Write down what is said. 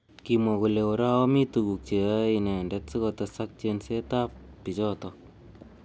Kimwa kole orao mi tukuk cheyaei inendet sikotesak chenset ab bichotok.